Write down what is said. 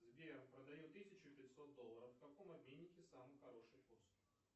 сбер продаю тысячу пятьсот долларов в каком обменнике самый хороший курс